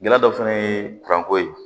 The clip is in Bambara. Gɛlɛya dɔ fana ye kuranko ye